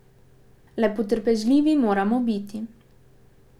Le potrpežljivi moramo biti.